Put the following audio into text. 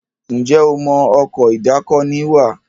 Njé o mọ Ọkọ̀ ìdákoní wà?